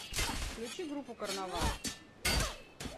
включи группу карнавал